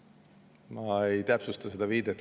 Ma ei täpsusta seda viidet.